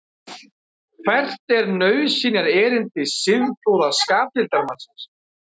hvert er nauðsynjaerindi siðprúða skapdeildarmannsins